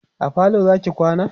a falo Zaki kwana?